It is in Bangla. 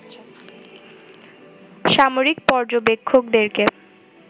সামরিক পর্যবেক্ষকদেরকে